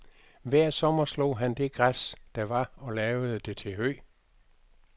Hver sommer slog han det græs, der var og lavede det til hø.